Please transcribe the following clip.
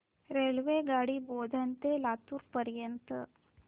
रेल्वेगाडी बोधन ते लातूर पर्यंत